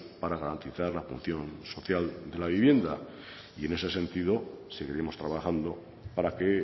para garantizar la función social de la vivienda y en ese sentido seguiremos trabajando para que